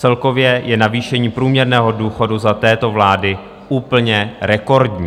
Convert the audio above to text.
Celkově je navýšení průměrného důchodu za této vlády úplně rekordní.